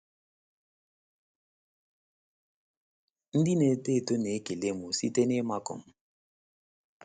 Ndị na - eto eto na - ekele m site n’ịmakụ m.